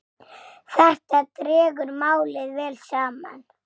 Þetta dregur málið vel saman.